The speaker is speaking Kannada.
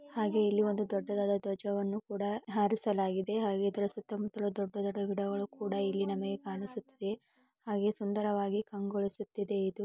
ಹಾಗೆ ಇಲ್ಲಿ ಒಂದು ದೊಡ್ಡದಾದ ದ್ವಜ ವನ್ನು ಕೂಡ ಹಾರಿಸಲಾಗಿದೆ ಹಾಗೆ ಇದ್ರ ಸುತ್ತಮುತ್ತಲು ದೊಡ್ಡ ದೊಡ್ಡ ಗಿಡ ಮರಗಳು ಕೂಡ ಇಲ್ಲಿ ನಮಗೆ ಕಾಣ್ಸುತ್ತೆ ಹಾಗೆ ಸುಂದರವಾಗಿ ಕಂಗೊಳಿಸುತ್ತಿದೆ ಇದು.